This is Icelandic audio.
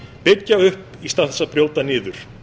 byggja upp í stað þess að brjóta niður